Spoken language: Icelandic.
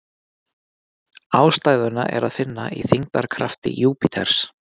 Ástæðuna er að finna í þyngdarkrafti Júpíters.